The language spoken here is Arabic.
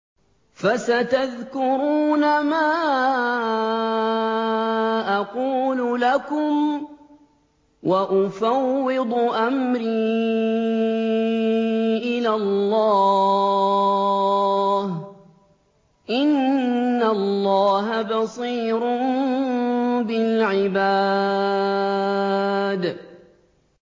فَسَتَذْكُرُونَ مَا أَقُولُ لَكُمْ ۚ وَأُفَوِّضُ أَمْرِي إِلَى اللَّهِ ۚ إِنَّ اللَّهَ بَصِيرٌ بِالْعِبَادِ